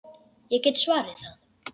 Ég get svarið það.